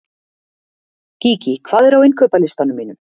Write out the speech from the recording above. Gígí, hvað er á innkaupalistanum mínum?